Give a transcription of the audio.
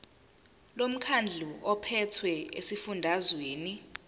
lomkhandlu ophethe esifundazweni